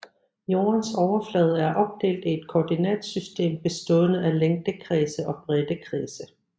Jordens overflade er opdelt i et koordinatsystem bestående af længdekredse og breddekredse